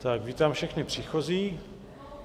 Tak vítám všechny příchozí.